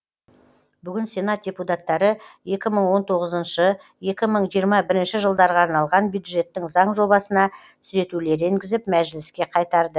бүгін сенат депутаттары екі мың он тоғызыншы екі мың жиырма бірінші жылдарға арналған бюджеттің заң жобасына түзетулер енгізіп мәжіліске қайтарды